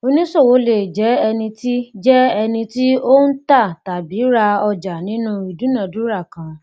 oníṣòwò le jẹ ẹni tí jẹ ẹni tí o n ta tàbí rá ọjà nínú idunadura kan